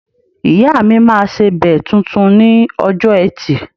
Ìyáà mi máa sebẹ̀ tuntun ni ọjọ́ Ẹtì